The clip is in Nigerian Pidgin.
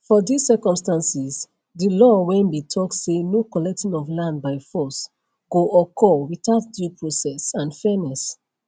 for dis circumstances di law wey bin tok say no collecting of land by force go occur witout due process and fairness